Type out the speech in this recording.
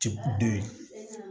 Ti den